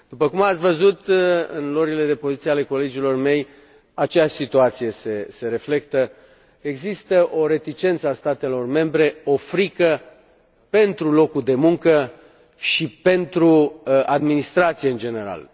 După cum ați văzut în luările de poziție ale colegilor mei, aceeași situație se reflectă există o reticență a statelor membre, o frică pentru locul de muncă și pentru administrație în general.